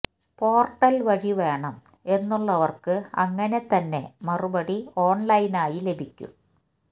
portal വഴി വേണം എന്നുള്ളവര്ക്ക് അങ്ങനെ തന്നെ മറുപടി ഓണ്ലൈനായി ലഭിക്കും